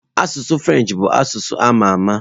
Asụsụ Frenchị bụ asụsụ a ma ama.